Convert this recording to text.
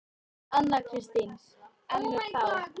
Anna Kristín: En er þá.